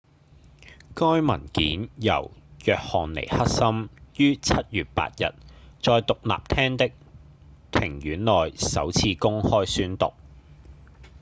該文件由約翰尼克森於7月8日在獨立廳的庭院內首次公開宣讀